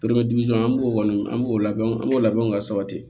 an b'o kɔni an b'o labɛn an b'o labɛn o ka sabati